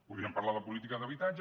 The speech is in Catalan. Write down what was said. podríem parlar de política d’habitatge